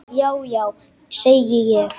Já já, segi ég.